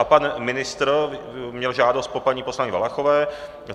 A pan ministr měl žádost po paní poslankyni Valachové.